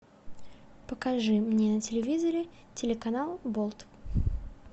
покажи мне на телевизоре телеканал болт